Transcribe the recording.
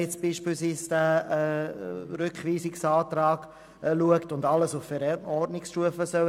dies beispielsweise in Anbetracht dieses Rückweisungsantrags, der alles auf Verordnungsstufe regeln soll.